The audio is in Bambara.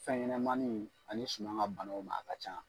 Fɛn ɲɛnɛmaniw ani suma ka banaw ma a ka ca.